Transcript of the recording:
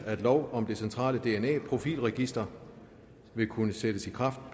at lov om det centrale dna profilregister vil kunne sættes i kraft